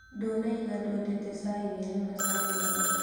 Ndũnaiga ndwendete cai wĩna macani maingĩ